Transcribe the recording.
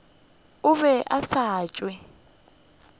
o be a sa tšo